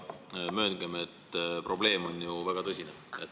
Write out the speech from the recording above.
Aga mööngem, et probleem on ju väga tõsine.